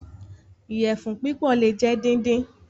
Iyẹfun pípò le jẹ díndín.